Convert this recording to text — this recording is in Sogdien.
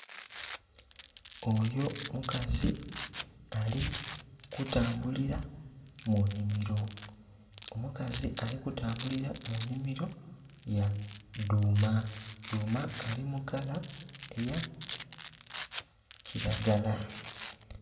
Oyo mukazi ali kutambulila mu nhimiro, omukazi ali kutambulila mu nhimiro ya dhuma, dhuma ali mukala eya kilagala.